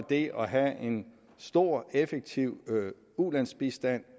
det at have en stor effektiv ulandsbistand